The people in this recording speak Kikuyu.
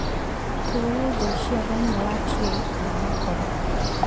Tũũria indo icio thĩinĩ wa tray kana makoro